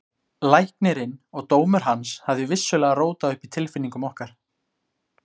Læknirinn og dómur hans hafði vissulega rótað upp í tilfinningum okkar.